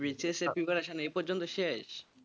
B S C র preparation এই পর্যন্ত শেষ,